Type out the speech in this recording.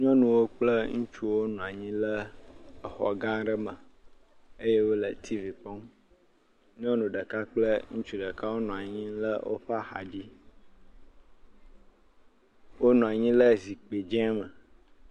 Nyɔnuwo kple ŋutsuwo nɔ anyi le exɔgã aɖe me eye wole tiivi kpɔm. Nynu ɖeka kple ŋutsu ɖeka wonɔ anyi le woƒe axadzi. Wonɔ anyi le zikpi dzẽ me.